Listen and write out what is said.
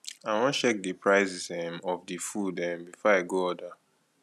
i wan check di prices um of di food um before i go order